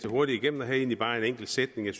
hurtigt igennem og havde egentlig bare en enkelt sætning jeg